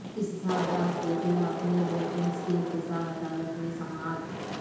اسحاق ڈار کیخلاف نیب ریفرنس کی احتساب عدالت میں سماعت